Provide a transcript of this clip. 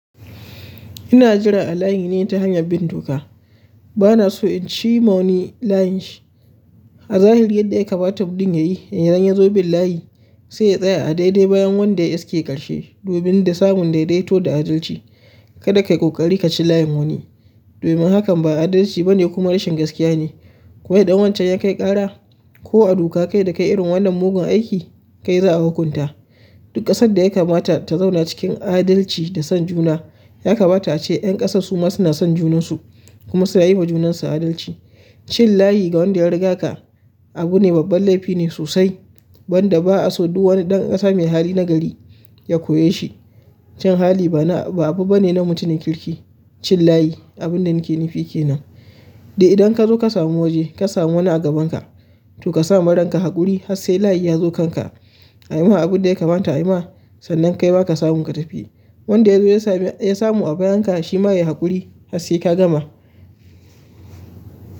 Ina jira a layi ne ta hanyar bin doka. Bana so in ci ma wani layin shi. A zahiri yadda ya kamata mutum ya yi, in ya zo bin layi sai ya tsaya a daidai bayan wanda ya ke ƙarshe domin da samun daidaito da adalci. Kada ka yi ƙoƙari ka ci layin wani. Domin hakan ba adalci ba ne kuma rashin gaskiya ne. Koma idan wancan ya kai ƙara ko a doka kai da kai irin wannan mugun aiki kai za a hukunta. Duk kasan da ya kamata ta zauna cikin adalci da son juna, ya kamata a ce ƴan ƙasar su ma suna son junansu kuma su na yi wa junansu adalci. Cin layi ga wanda ya riga ka abu ne babban laifi ne sosai wanda ba a so duk wani ɗan ƙasa mai hali na gari ya koye shi. Kyan hali ba na, ba abu ba ne na mutumin kirki. Cin layi abin da na ke nufi kenan. Da idan ka zo ka samu waje, ka samu wani a gabanka to ka sa ma ranka haƙuri har sai layi ya zo kanka. A yi ma abin da ya kamata a yi ma, sannan kai ma ka samu ka tafi. Wanda ya zo ya samu a bayanka shi ma ya yi haƙuri har sai ka gama.